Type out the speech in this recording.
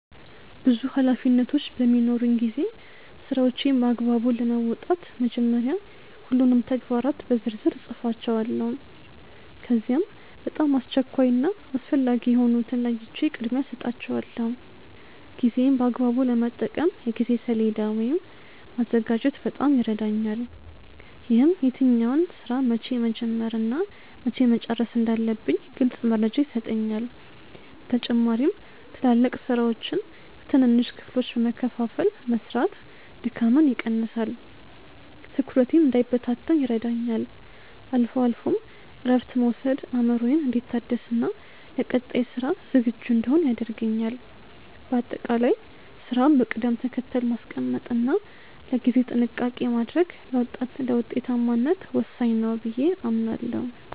ብዙ ኃላፊነቶች በሚኖሩኝ ጊዜ ስራዎቼን በአግባቡ ለመወጣት መጀመሪያ ሁሉንም ተግባራት በዝርዝር እጽፋቸዋለሁ። ከዚያም በጣም አስቸኳይ እና አስፈላጊ የሆኑትን ለይቼ ቅድሚያ እሰጣቸዋለሁ። ጊዜዬን በአግባቡ ለመጠቀም የጊዜ ሰሌዳ ወይም ማዘጋጀት በጣም ይረዳኛል። ይህም የትኛውን ስራ መቼ መጀመር እና መቼ መጨረስ እንዳለብኝ ግልጽ መረጃ ይሰጠኛል። በተጨማሪም ትላልቅ ስራዎችን በትንንሽ ክፍሎች በመከፋፈል መስራት ድካምን ይቀንሳል፤ ትኩረቴም እንዳይበታተን ይረዳኛል። አልፎ አልፎም እረፍት መውሰድ አእምሮዬ እንዲታደስና ለቀጣይ ስራ ዝግጁ እንድሆን ያደርገኛል። በአጠቃላይ ስራን በቅደም ተከተል ማስቀመጥ እና ለጊዜ ጥንቃቄ ማድረግ ለውጤታማነት ወሳኝ ነው ብዬ አምናለሁ።